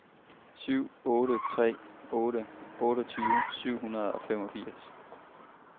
syv otte tre otte otteogtyve syv hundrede og femogfirs